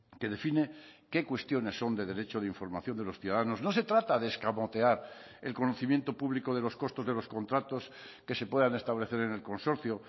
que define qué cuestiones son de derecho de información de los ciudadanos no se trata de escamotear el conocimiento público de los costos de los contratos que se puedan establecer en el consorcio